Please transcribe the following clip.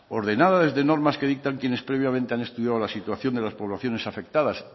ordenada desde normas que dictan quienes previamente han estudiado la situación de las poblaciones afectadas